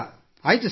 ಆಯ್ತು ಸರ್